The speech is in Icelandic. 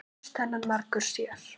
Eflaust þennan margur sér.